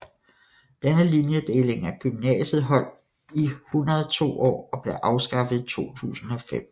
Denne linjedeling af gymnasiet holdt i 102 år og blev afskaffet i 2005